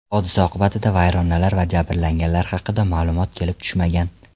Hodisa oqibatida vayronalar va jabrlanganlar haqida ma’lumot kelib tushmagan.